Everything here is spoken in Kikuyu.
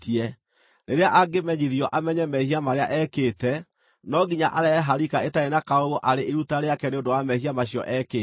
Rĩrĩa angĩmenyithio amenye mehia marĩa ekĩte, no nginya arehe harika ĩtarĩ na kaũũgũ arĩ iruta rĩake nĩ ũndũ wa mehia macio ekĩte.